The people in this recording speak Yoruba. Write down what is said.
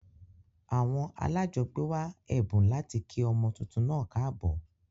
Àwon alájogbé wa èbùn láti kí ọmọ tuntun naa káàbò